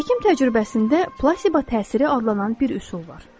Həkim təcrübəsində plasiba təsiri adlanan bir üsul var.